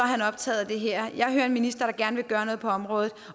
han optaget af det her jeg hører en minister der gerne vil gøre noget på området